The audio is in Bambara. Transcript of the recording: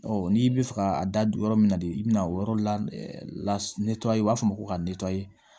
n'i bɛ fɛ ka a da yɔrɔ min na de i bɛna o yɔrɔ la u b'a fɔ ma ko